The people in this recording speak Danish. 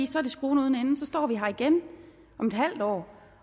så er det skruen uden ende og så står vi her igen om et halvt år